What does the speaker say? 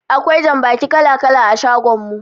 Akwai jambaki kala-kala a shagon mu.